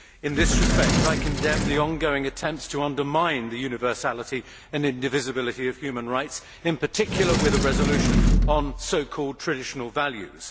In this respect, I condemn the ongoing attempts to undermine the universality and indivisibility of human rights, in particular with a resolution on so called traditional values.